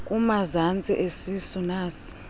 kumazantsi esisu nas